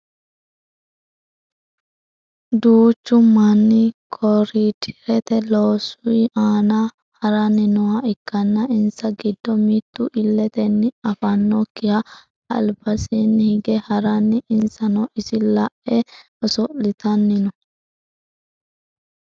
duuchu manni koriiderete loosui aana haranni nooha ikkanna insa giddo mittu illetenni afannokkihu albansaanni hige haranna insano iso la'e oso'litanni no